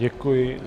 Děkuji.